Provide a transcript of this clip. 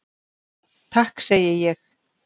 Takk segi ég.